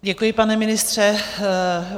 Děkuji, pane ministře.